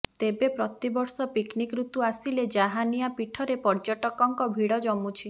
ତେବେ ପ୍ରତିବର୍ଷ ପିକନିକ୍ ରୁତୁ ଆସିଲେ ଜାହାନିଆ ପିଠରେ ପର୍ଯ୍ୟଟକଙ୍କ ଭିଡ଼ ଜମୁଛି